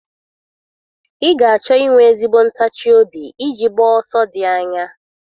Ị ga-achọ inwe ezigbo ntachi obi iji gbaa ọsọ dị anya